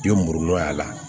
I bɛ muru y'a la